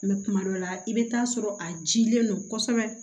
kuma dɔ la i bɛ taa sɔrɔ a jilen don kosɛbɛ